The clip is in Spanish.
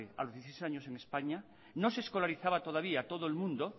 a los dieciséis años en españa no se escolarizaba todavía todo el mundo